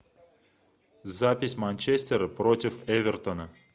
запись манчестера против эвертона